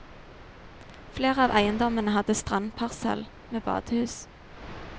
Flere av eiendommene hadde strandparsell med badehus.